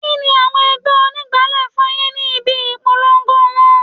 Kini àwọn ẹgbẹ́ onígbálé fún yìí ni ibi ìpolongo wọn?